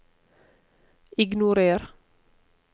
ignorer